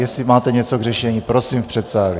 Jestli máte něco k řešení, prosím v předsálí.